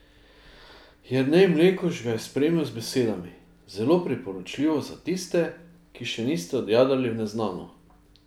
Jernej Mlekuž ga je spremil z besedami: "Zelo priporočljivo za tiste, ki še niste odjadrali v neznano.